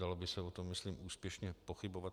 Dalo by se o tom, myslím, úspěšně pochybovat.